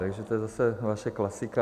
Takže to je zase vaše klasika.